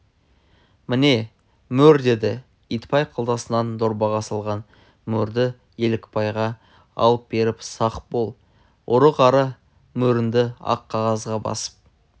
міне мөр деді итбай қалтасынан дорбаға салған мөрді елікбайға алып беріп сақ бол ұры-қары мөріңді ақ қағазға басып